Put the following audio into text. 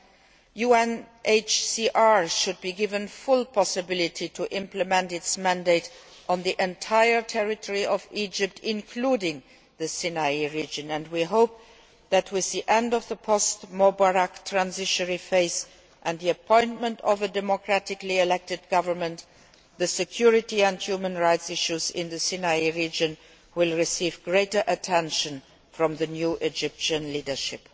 The UNHCR should be given full possibility to implement its mandate on the entire territory of Egypt, including the Sinai region and we hope that with the end of the post Mubarak transitional phase and the appointment of a democratically elected government, the security and human rights issues in the Sinai region will receive greater attention from the new Egyptian leadership.